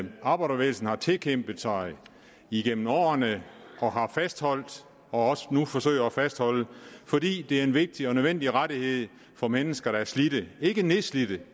arbejderbevægelsen har tilkæmpet sig igennem årene og har fastholdt og også nu forsøger at fastholde fordi det er en vigtig og nødvendig rettighed for mennesker der er slidte ikke nedslidte